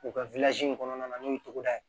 U ka in kɔnɔna na n'o ye togoda ye